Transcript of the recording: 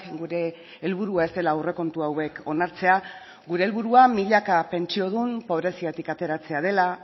gure helburua ez dela aurrekontu hauek onartzea gure helburua milaka pentsiodun pobreziatik ateratzea dela